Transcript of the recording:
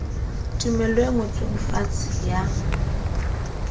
tumello e ngotsweng fatshe ya